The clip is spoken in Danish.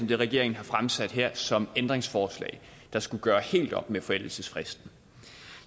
det regeringen har fremsat her som ændringsforslag der skulle gøre helt op med forældelsesfristen